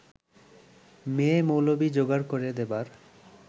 মেয়ে-মৌলবি যোগাড় করে দেবার